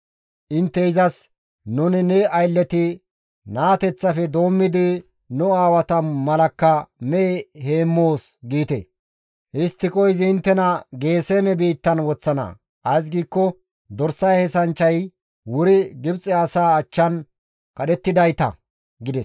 intte izas, ‹Nuni ne aylleti naateththafe doommidi nu aawata malakka mehe heemmoos› giite. Histtiko izi inttena Geeseme biittan woththana; ays giikko dorsa heenththanchchay wuri Gibxe asaa achchan kadhettidayta» gides.